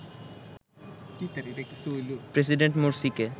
president মোরসিকে